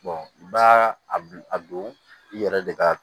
i b'a a don i yɛrɛ de ka